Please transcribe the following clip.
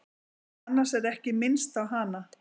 Annars er ekki minnst á hana.